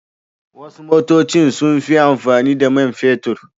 Wasu motocin suna amfani da man fetur.